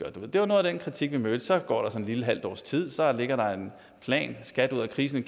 det var noget af den kritik vi mødte så går der sådan et lille halvt års tid og så ligger der en plan skat ud af krisen